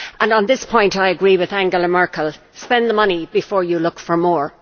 On this point I agree with Angela Merkel spend the money before you look for more.